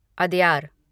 Adyar